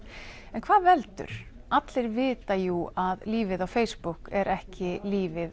en hvað veldur allir vita jú að lífið á Facebook er ekki lífið